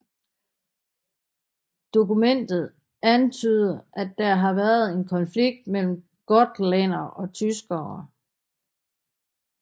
Dokumentet antyder at der havde været en konflikt mellem gotlændere og tyskere